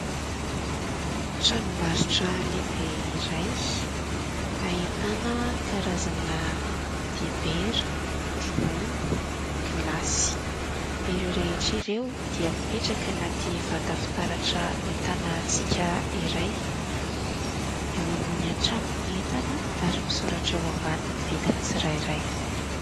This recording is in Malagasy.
Tranombarotra lehibe iray ahitana karazana dibera, ronono, gilasy ; ireo rehetra ireo dia mipetraka anaty vata fitaratra mitana hatsiaka iray. Eo ambony hatrany ny entana ary misoratra eo ambany ny vidin'ny tsirairay.